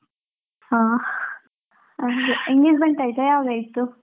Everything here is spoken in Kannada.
ಹಾ engagement ಆಯ್ತಾ? ಯಾವಾಗ ಆಯ್ತು?